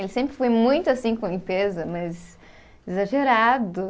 Ele sempre foi muito assim com limpeza, mas exagerado.